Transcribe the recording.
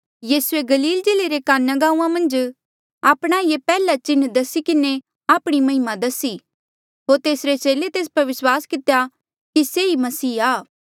यीसूए गलील जिल्ले रे काना गांऊँआं मन्झ आपणा ये पैहला चिन्ह दसी किन्हें आपणी महिमा दसी होर तेसरे चेले तेस पर विस्वास कितेया कि से ही मसीहा आ